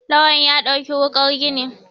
Lawan ya ɗauki wukar gini